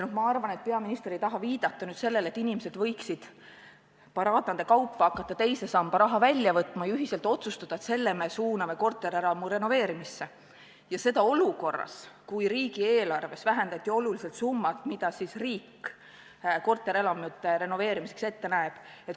Ma arvan, et peaminister ei taha viidata sellele, et inimesed võiksid paraadnate kaupa hakata teise samba raha välja võtma ja ühiselt otsustada, et selle me suuname korterielamu renoveerimisse – ja seda olukorras, kui riigieelarves vähendati oluliselt summat, mis riik korterelamute renoveerimiseks ette näeb.